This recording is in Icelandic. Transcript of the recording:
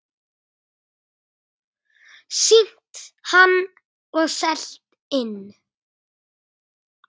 Sýnt hann og selt inn.